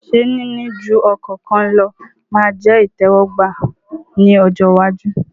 Ṣé níní ju ọkọ kan lọ ma jẹ́ ìtẹ́wọ́gbà ní ọjọ́ iwájú?